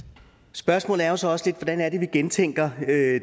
spørgsmålet er jo så også lidt hvordan vi gentænker